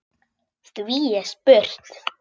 Því er spurt: